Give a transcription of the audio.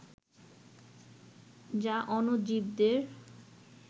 যা অণুজীবদের